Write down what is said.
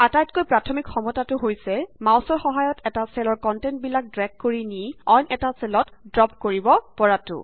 আটাইতকৈ প্ৰাথমিক সক্ষমতাটো হৈছে মাউছৰ সহায়ত এটা চেলৰ কন্টেন্ট বিলাক ড্ৰেগ কৰি নি অইন এটা চেলত দ্ৰপ কৰিব পৰাটো